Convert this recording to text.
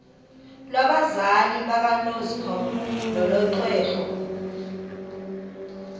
lwabazali bakanozpho nolwexhego